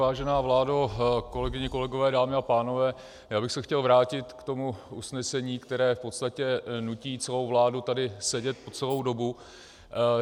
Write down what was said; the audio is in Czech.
Vážená vládo, kolegyně, kolegové, dámy a pánové, já bych se chtěl vrátit k tomu usnesení, které v podstatě nutí celou vládu tady sedět po celou dobu.